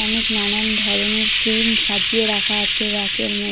অনেক নানান ধরণের ক্রিম সাজিয়ে রাখা আছে রেকের মধ্যে --